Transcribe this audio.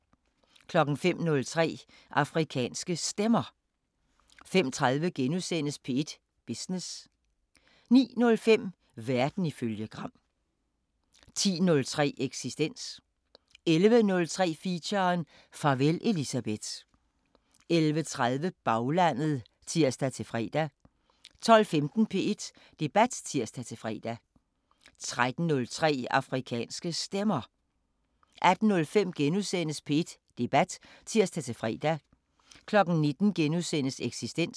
05:03: Afrikanske Stemmer 05:30: P1 Business * 09:05: Verden ifølge Gram 10:03: Eksistens 11:03: Feature: Farvel Elisabeth 11:30: Baglandet (tir-fre) 12:15: P1 Debat (tir-fre) 13:03: Afrikanske Stemmer 18:05: P1 Debat *(tir-fre) 19:00: Eksistens *